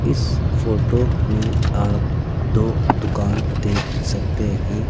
इस फोटो में आप दो दुकान देख सकते हैं।